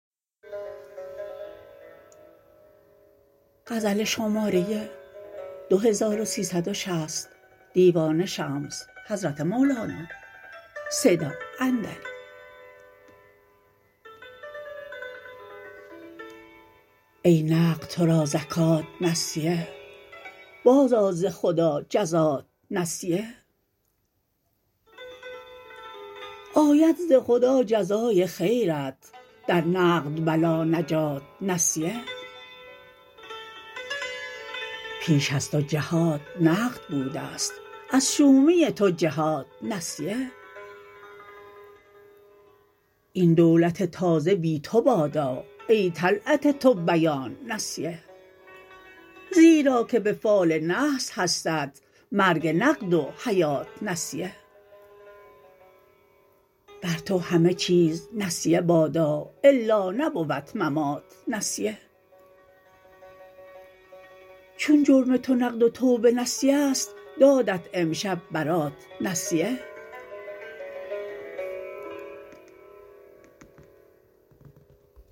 ای نقد تو را زکات نسیه بازآ ز خدا جزات نسیه آید ز خدا جزای خیرت در نقد بلا نجات نسیه پیش از تو جهات نقد بوده ست از شومی تو جهات نسیه این دولت تازه بی تو بادا ای طلعت تو بیات نسیه زیرا که به فال نحس هستت مرگ نقد و حیات نسیه بر تو همه چیز نسیه بادا الا نبود ممات نسیه چون جرم تو نقد و توبه نسیه ست دادت امشب برات نسیه